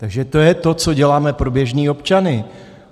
Takže to je to, co děláme pro běžné občany.